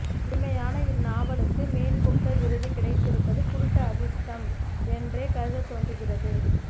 எளிமையான இந்நாவலுக்கு Man Booker விருது கிடைத்திருப்பது குருட்டு அதிர்ஷடம் என்றே கருதத் தோன்றுகிறது